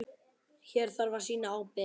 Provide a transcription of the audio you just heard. Hér þarf að sýna ábyrgð.